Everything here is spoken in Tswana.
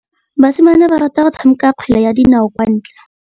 Basimane ba rata go tshameka kgwele ya dinaô kwa ntle.